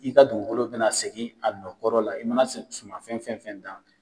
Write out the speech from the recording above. I ka dugukolo bɛna segin a nɔ kɔrɔ la i mana suman fɛn fɛn fɛn dan.